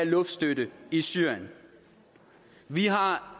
luftstøtte i syrien vi har